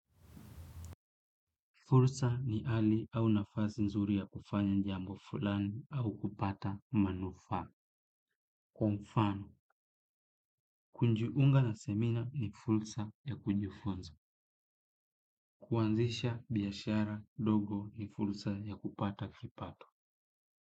Fursa ni hali au nafasi nzuri ya kufanya jambo fulani au kupata manufaa. Kwa mfano, kujiunga na semina ni fursa ya kujifunza. Kuanzisha, biashara, dogo ni fursa ya kupata kipato.